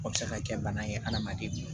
O bɛ se ka kɛ bana ye adamaden nu